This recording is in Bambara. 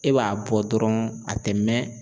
E b'a bɔ dɔrɔn a tɛ mɛn